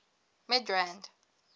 midrand